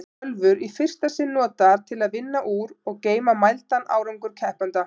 Tölvur í fyrsta sinn notaðar til að vinna úr og geyma mældan árangur keppenda.